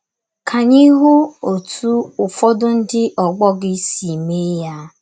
Ka anyị hụ ọtụ ụfọdụ ndị ọgbọ gị si mee ya.